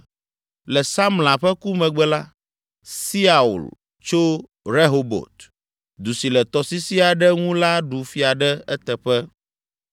Le Samla ƒe ku megbe la, Siaul tso Rehobot, du si le tɔsisi aɖe ŋu la ɖu fia ɖe eteƒe.